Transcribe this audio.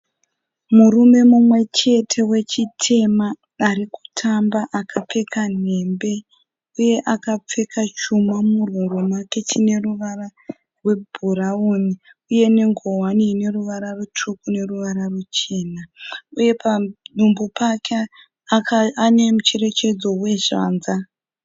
Murume mumwechete wechitema arikutamba akapfeka nhembe. Uye akapfeka chuma muhuro make chine ruvara rwe bhurauni. Uye nengowani ine ruvara rutsvuku neruvara ruchena. Uye padumbu pake ane mucherechedzo wezvanza.